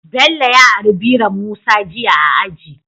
Bello ya ari biron musa jiya a aji